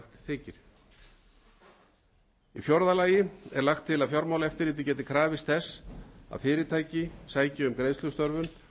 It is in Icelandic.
í fjórða lagi er lagt til að fjármálaeftirlitið geti krafist þess að fyrirtæki sæki um greiðslustöðvun